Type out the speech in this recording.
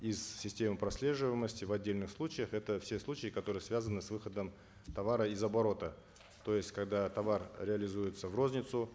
из системы прослеживаемости в отдельных случаях это все случаи которые связаны с выходом товара из оборота то есть когда товар реализуется в розницу